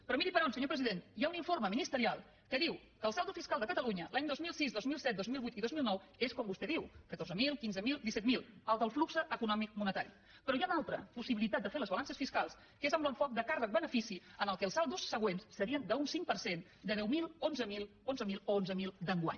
però miri per on senyor president hi ha un informe ministerial que diu que el saldo fiscal de catalunya els anys dos mil sis dos mil set dos mil vuit i dos mil nou és com vostè diu catorze mil quinze mil disset mil el del flux econòmic monetari però hi ha una altra possibilitat de fer les balances fiscals que és amb l’enfoc de càrrec benefici en què els saldos següents serien d’un cinc per cent de deu mil onze mil onze mil o onze mil d’enguany